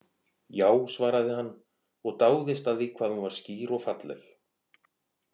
Já, svaraði hann og dáðist að því hvað hún var skýr og falleg.